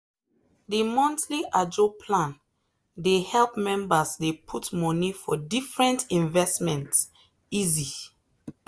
the monthly ajo plan dey help members dey put money for different investment easy.